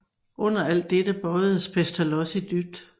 Under alt dette bøjedes Pestalozzi dybt